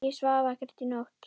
Ég svaf ekkert í nótt.